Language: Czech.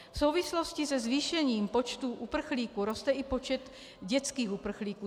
V souvislosti se zvýšením počtu uprchlíků roste i počet dětských uprchlíků.